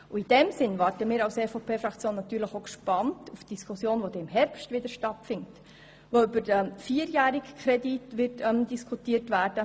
In diesem Sinne wartet die EVPFraktion natürlich auch gespannt auf die Diskussion im Herbst, wenn der vierjährige Kredit vorgelegt wird.